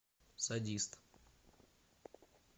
садист